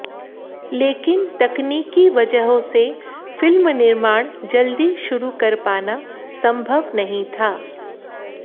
लेकिन तकनीकी वजहों से फिल्म निर्माण जल्दी शुरू कर पाना संभव नहीं था